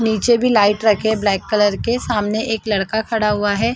नीचे भी लाइट रखे है ब्लैक कलर के सामने एक लड़का खड़ा हुआ है।